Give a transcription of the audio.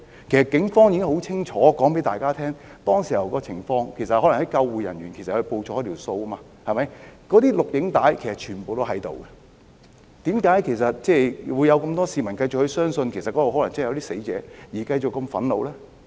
警方已清楚告訴大家當時的情況，可能是救護人員報錯人數，那些錄影紀錄全部都存在，為何還有這麼多市民繼續相信那裏可能真的有人死亡而感到憤怒？